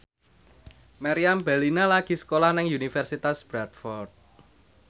Meriam Bellina lagi sekolah nang Universitas Bradford